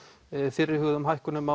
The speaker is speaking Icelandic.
fyrirhuguðum hækkunum